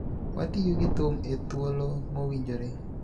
Watiyo gi thum e thuolo mowinjore,